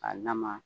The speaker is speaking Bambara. A lama